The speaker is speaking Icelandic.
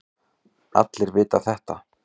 Allir vita þetta.